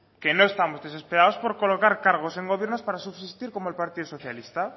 que no estamos desesperados por colocar cargos en gobiernos para subsistir como el partido socialista